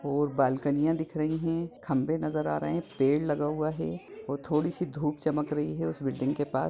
और बालकनियाँ दिख रही है खम्बे नजर आ रहे हैं पेड़ लगा हुआ है और थोड़ी सी धुप चमक रही है उस बिल्डिंग के पार --